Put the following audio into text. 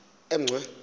emgcwe